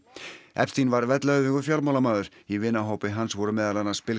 epstein var vellauðugur fjármálamaður í vinahópi hans voru meðal annars